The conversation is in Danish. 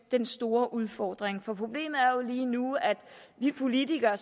den store udfordring problemet er jo lige nu at vi politikere